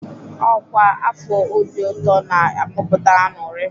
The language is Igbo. Ọkwa afọ Obi Ụtọ na-amụpụta ańụrị.